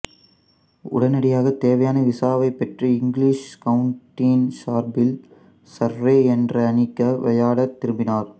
உடனடியாக தேவையான விசாவைப் பெற்று இங்கிலீஷ் கவுண்டியின் சார்பில் சர்ரே என்ற அணிக்கு விளையாடத் திரும்பினார்